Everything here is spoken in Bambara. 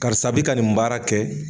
Karisa bi ka nin baara kɛ